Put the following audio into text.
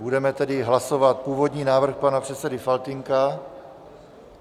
Budeme tedy hlasovat původní návrh pana předsedy Faltýnka.